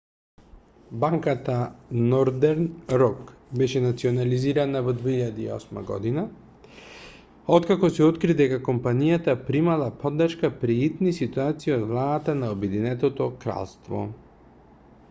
банката нордерн рок беше национализирана во 2008 г откако се откри дека компанијата примала поддршка при итни ситуации од владата на обединетото кралство